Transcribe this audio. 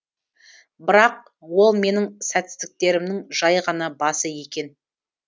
бірақ ол менің сәтсіздіктерімнің жай ғана басы екен